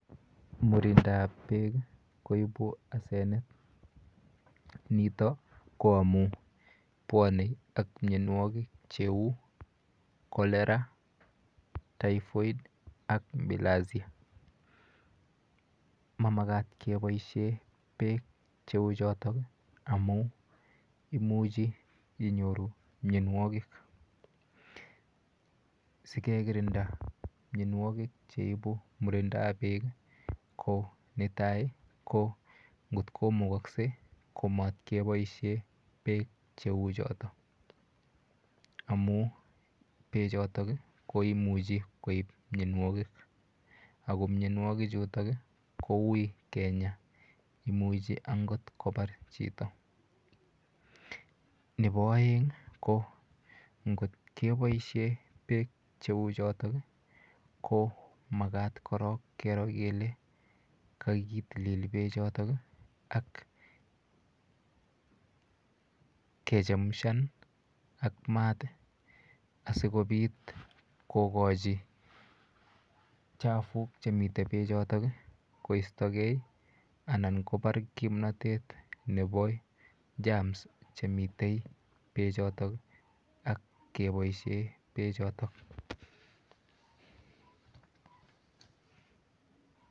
Murindap peek koipu asenet nito koamun puoni ak mionwokik cheu cholera, typhoid ak bilharzia mamakat keboishe peek cheu choto amun imuchi inyoru mionwokik sikekirinda mionwokik cheipu murindap peek ko netai ko ngotko mukoskei komat keboishe peek cheu choto amu peechoto koimuchi koip mionwokik ako mionwokik chuto ko ui kenyaa imuchi angoot ko par chito nepo oeng ko ngotkeboishe peek cheu choto ko makat korok kero kele kakitilil pechoton ak kechemushan ak maat asikopit kokochi chafuk chemiten pechoton koistogei anan kopar kimnotet nepo germs chemitei peechotok ak keboishe peechoto